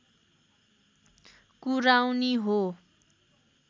कुराउनी हो